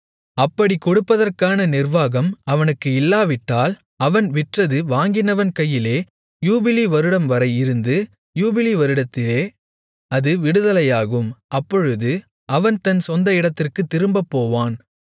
அப்படிக் கொடுப்பதற்கான நிர்வாகம் அவனுக்கு இல்லாவிட்டால் அவன் விற்றது வாங்கினவன் கையிலே யூபிலி வருடம்வரை இருந்து யூபிலி வருடத்திலே அது விடுதலையாகும் அப்பொழுது அவன் தன் சொந்த இடத்திற்குத் திரும்பப்போவான்